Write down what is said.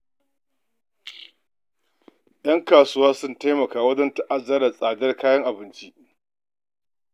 Ƴan kasuwa sun taimaka wajen daɗa ta'azzara tsadar abinci a ƙasar nan.